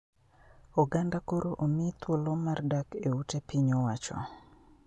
Oganda koro omi thuolo mar dak e ute piny owacho